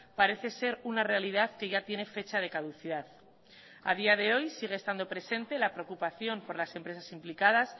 parece ser una realidad que ya tiene fecha de caducidad a día de hoy sigue estando presente la preocupación por las empresas implicadas